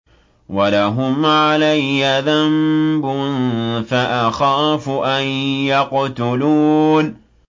وَلَهُمْ عَلَيَّ ذَنبٌ فَأَخَافُ أَن يَقْتُلُونِ